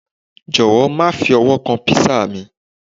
jọwọ, ma fi ọwọ kan pizza mi